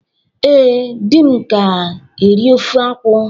Ee, di m ka eri ofe akwu